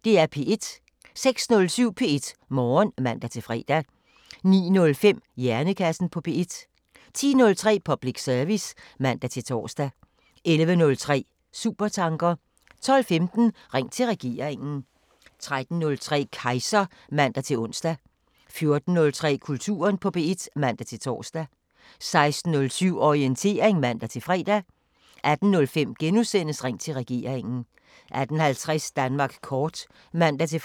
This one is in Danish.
06:07: P1 Morgen (man-fre) 09:05: Hjernekassen på P1 10:03: Public service (man-tor) 11:03: Supertanker 12:15: Ring til regeringen 13:03: Kejser (man-ons) 14:03: Kulturen på P1 (man-tor) 16:07: Orientering (man-fre) 18:05: Ring til regeringen * 18:50: Danmark kort (man-fre)